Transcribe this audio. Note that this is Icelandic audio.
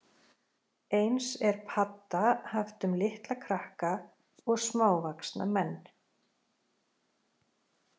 Eins er padda haft um litla krakka og smávaxna menn.